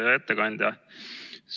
Hea ettekandja!